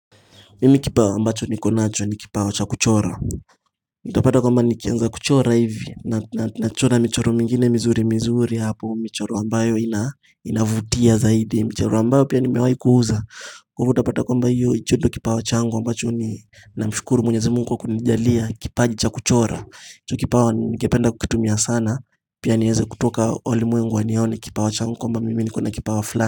Mimi kipao ambacho nikonacho ni kipao cha kuchora. Nitapata kwamba, nikianza kuchora hivi Nachora michoro mingine mizuri mizuri hapo. Michoro ambayo inavutia zaidi. Michoro ambayo pia nimewaikuuza. Kwa ivo utapata kwamba hicho ndicho kipao changu ambacho ni Namshukuru mwenyezi mungu kwa kunijalia kipaji cha kuchora. Hicho kipao ningependa kukitumia sana. Pia nieze kutoka walimwengu wanione kipao changu kwamba mimi nikona kipao fulani.